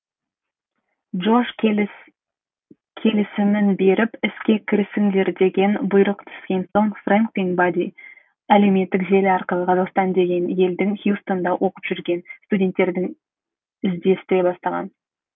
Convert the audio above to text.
джош келісімін беріп іске кірісіңдер деген бұйрық түскен соң фрэнк пен бадди әлеуметтік желі арқылы қазақстан деген елдің хьюстонда оқып жүрген студенттерін іздестіре бастаған